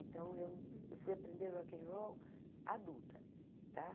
Então, eu eu fui aprender Rock and Roll adulta, tá?